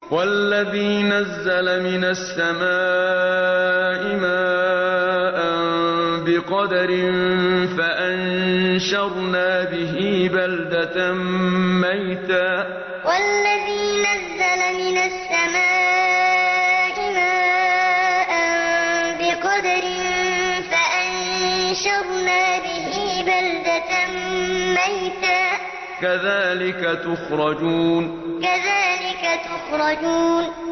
وَالَّذِي نَزَّلَ مِنَ السَّمَاءِ مَاءً بِقَدَرٍ فَأَنشَرْنَا بِهِ بَلْدَةً مَّيْتًا ۚ كَذَٰلِكَ تُخْرَجُونَ وَالَّذِي نَزَّلَ مِنَ السَّمَاءِ مَاءً بِقَدَرٍ فَأَنشَرْنَا بِهِ بَلْدَةً مَّيْتًا ۚ كَذَٰلِكَ تُخْرَجُونَ